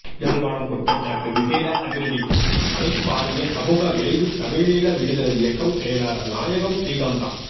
யாழ்ப்பாணம் குற்றச்சாட்டு விசேட அதிரடிப் படை பாரிய சமூக விளைவு தமிழீழ விடுதலை இயக்கம் செயலாளர் நாயகம் ஸ்ரீகாந்தா